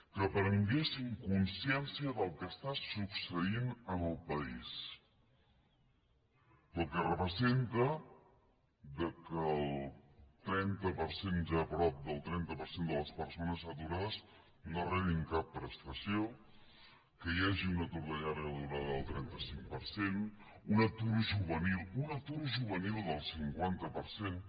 que prenguéssim consciència del que està succeint en el país pel que representa que el trenta per cent ja prop del trenta per cent de les persones aturades no rebin cap prestació que hi hagi un atur de llarga durada del trenta cinc per cent un atur juvenil un atur juvenil del cinquanta per cent